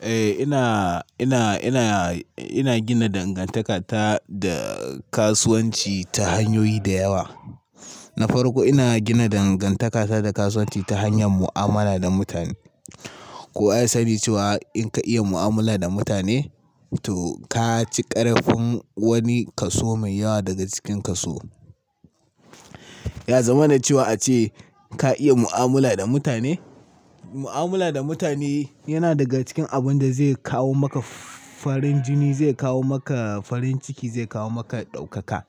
Eh ina, ina, ina, ina gina dangantaka ta da kasuwanci ta hanyoyi da yawa. Na farko ina gina dangantaka ta da kasuwanci ta hanyar mu'amala da mutane. Kowa ya. Sani cewa in ka iya mu'amala da mutane to ka ci ƙarfin wani kaso mai yawa daga cikin kaso. Ya zama na cewa ace ka iya mu'amala da mutane. Mu'amala da mutane yana daga cikin abun da zai kawo maka farin jini, zai kawo maka farin ciki, zai kawo maka ɗaukaka.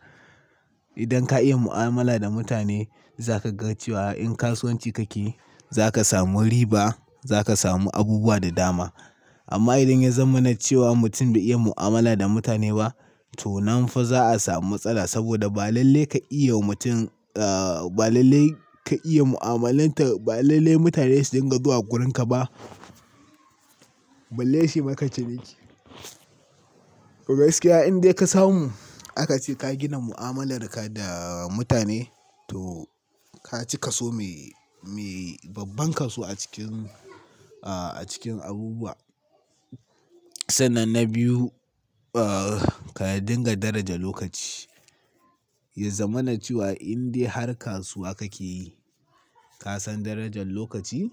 Idan ka iya mu'amala da mutane za ka ga cewa in kasuwanci kake yi za ka samu riba, za ka samu abubuwa da dama. Amma idan ya zama na cewa mutum bai iya mu'amala da mutane ba to nan fa za a samu matsala saboda ba lalle ka iya wa mutum, ah ba lalle ka iya mu'amalanta, ba lalle mutane su dinga zuwa wurinka ba. Balle suyi ma ka ci niƙi. Toh gaskiya in dai ka samu, aka ce ka gina mu'amalarka da mutane to ka ci kaso mai, mai babban kaso a cikin, a cikin abubuwa. Sannan na biyu, ah ka dinga daraja lokaci. Ya zama na cewa in dai har kasuwa kake yi, ka san darajar lokaci,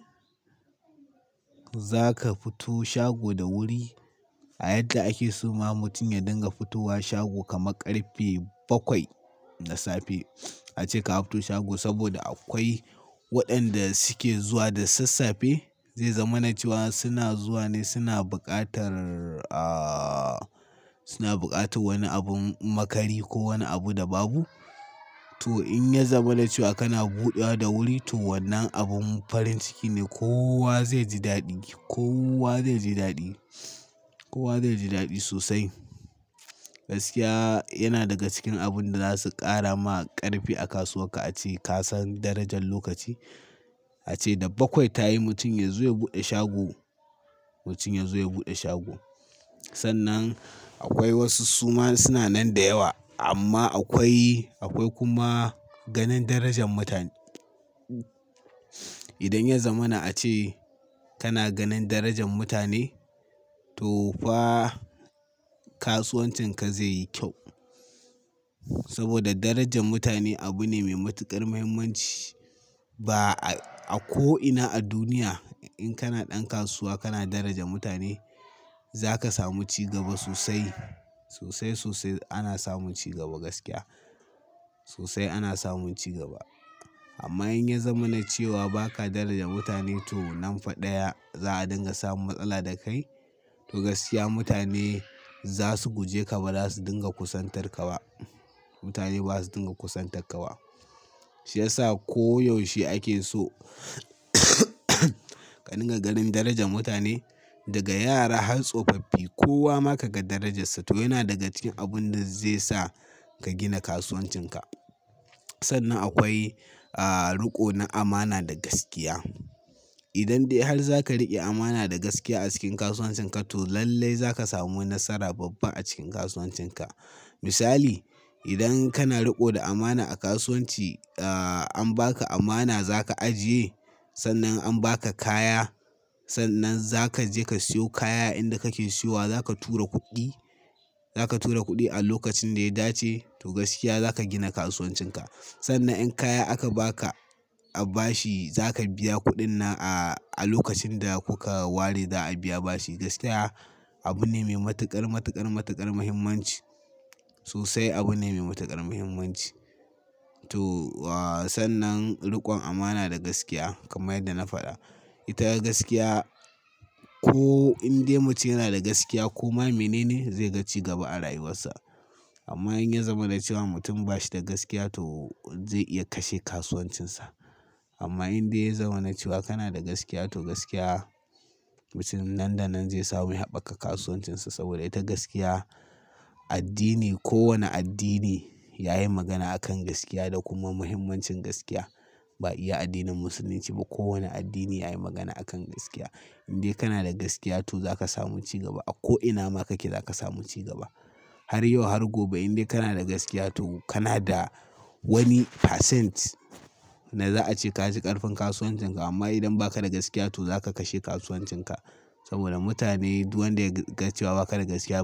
za ka fito shago da wuri. A yadda ake so ma mutum ya dinga fitowa shago kamar ƙarfe bakwai na safe. Ace ka fito shago saboda akwai waɗanda suke zuwa da sassafe. Zai zama na cewa suna zuwa ne suna buƙatar, ah suna buƙatar wani abun makari ko wani abu da babu. To in ya zama na cewa kana buɗewa da wuri to wannan abun farin ciki ne. Kowa zai ji daɗi, kowa zai ji daɗi, kowa zai ji daɗi sosai. Gaskiya yana daga cikin abun da za su ƙara ma ƙarfi a kasuwar ka. Ace ka san darajar lokaci. Ace da bakwai ta yi mutum ya zo ya buɗe shago, mutum ya zo ya buɗe shago. Sannan akwai wasu suma suna nan da yawa amma akwai, akwai kuma ganin darajar mutane. Idan ya zama na ace kana ganin darajar mutane to fa kasuwancinka zai yi kyau. Saboda darajar mutane abu ne mai matuƙar muhimmanci. Ba a, a ko'ina a duniya in kana ɗan kasuwa kana daraja mutane za ka samu cigaba sosai, sosai, sosai ana samun cigaba gaskiya. Sosai ana samun cigaba. Amma in ya zama na cewa ba ka daraja mutane to nan fa ɗaya za a dinga samun matsala da kai. To gaskiya mutane za su guje ka ba za su dinga kusantar ka ba. Mutane ba za su dinga kusantar ka ba. Shi ya sa koyaushe ake so ka dinga ganin darajar mutane, daga yara har tsofaffi kowa maka ga darajarsa. To yana daga cikin abun da zai sa ka gina kasuwancinka. Sannan akwai ah riƙo na amana da gaskiya. Idan dai har za ka riƙe amana da gaskiya a cikin kasuwancinka to lallai za ka samu nasara babba a cikin kasuwancinka. Misali, idan kana riƙo da amana a kasuwanci, ah an baka amana za ka ajiye. Sannan an baka kaya, sannan za ka je ka siyo kaya inda kake siyo wa za ka tura kuɗi, za ka tura kuɗi a lokacin da ya dace to gaskiya za ka gina kasuwancinka. Sannan in kaya aka baka a bashi za ka biya kuɗin nan a, a lokacin da kuka ware za a biya bashi. Gaskiya abu ne mai matuƙar, matuƙar, matuƙar muhimmanci. Sosai abu ne mai matuƙar muhimmanci. To wa sannan riƙon amana da gaskiya kamar yadda na faɗa. Ita gaskiya ko in dai mutum yana da gaskiya ko ma mene ne zai ga cigaba a rayuwarsa. Amma in ya zama na cewa mutum ba shi da gaskiya to zai iya kashe kasuwancinsa. Amma in dai ya zama na cewa kana da gaskiya to gaskiya mutum nan da nan zai samu ya haɓaka kasuwancinsa saboda ita gaskiya addini, ko wane addini ya yi magana a kan gaskiya da kuma muhimmancin gaskiya. Ba iya addinin musulunci ba, kowane addini yayi magana a kan gaskiya. In dai kana da gaskiya to za ka samu cigaba. A ko'ina ma kake za ka samu cigaba. Har yau har gobe in dai kana da gaskiya to kana da wani percent da za a ce ka ci ƙarfin kasuwancinka. Amma idan ba ka da gaskiya to za ka kashe kasuwancinka. Saboda mutane duk wanda ya ga cewa ba ka da gaskiya to.